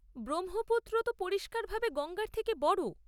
ব্রহ্মপুত্র তো পরিষ্কারভাবে গঙ্গার থেকে বড়।